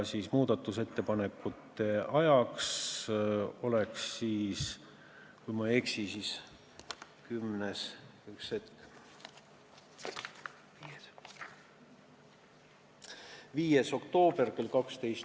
Muudatusettepanekute esitamise ajaks oleks siis, kui ma ei eksi, 5. oktoober kell 12.